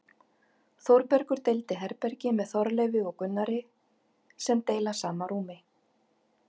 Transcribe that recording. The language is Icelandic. Þórbergur deilir herbergi með Þorleifi og Gunnari sem deila sama rúmi.